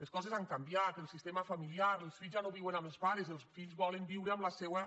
les coses han canviat el sistema familiar els fills ja no viuen amb els pares els fills volen viure amb la seua